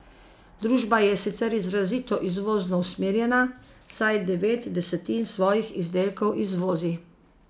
Družba je sicer izrazito izvozno usmerjena, saj devet desetin svojih izdelkov izvozi.